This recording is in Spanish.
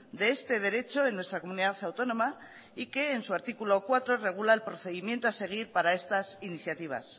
de este derecho en nuestra comunidad autónoma y que en su artículo cuatro regula el procedimiento a seguir para estas iniciativas